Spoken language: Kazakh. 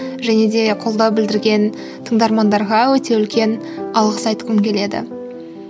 және де қолдау білдірген тыңдармандарға өте үлкен алғыс айтқым келеді